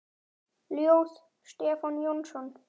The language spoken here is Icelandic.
Ljóð: Stefán Jónsson